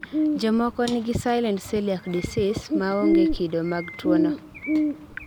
jomoko nigi silent celiac disease, maonge kido mag tuwono